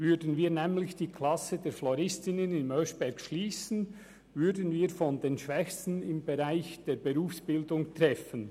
Würden wir nämlich die Klasse der Floristinnen im Oeschberg schliessen, würden wir einige der Schwächsten im Bereich der Berufsbildung treffen.